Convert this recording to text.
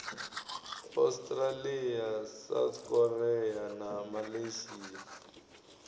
australia south korea na malaysia